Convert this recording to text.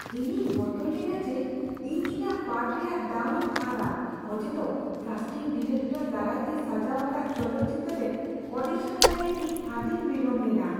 ᱤᱧᱤᱧ ᱵᱚᱛᱚᱨ ᱞᱮᱱᱟ ᱡᱮ ᱤᱧ ᱤᱧᱟᱹᱜ ᱯᱟᱴᱷ ᱨᱮᱭᱟᱜ ᱫᱟᱣᱤᱧ ᱟᱫᱟ ᱚᱡᱮᱫᱚ ᱠᱟᱥᱴᱤᱝ ᱰᱤᱨᱮᱠᱴᱚᱨ ᱫᱟᱨᱟᱭᱛᱮ ᱥᱟᱡᱟᱣ ᱟᱠᱟᱫ ᱪᱚᱞᱚᱛ ᱪᱤᱛᱟᱹᱨ ᱨᱮ ᱚᱰᱤᱥᱚᱱ ᱞᱟᱹᱜᱤᱫ ᱤᱧ ᱟᱹᱰᱤᱧ ᱵᱤᱞᱚᱢ ᱞᱮᱱᱟ ᱾